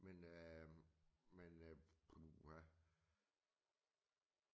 Men øh men øh puha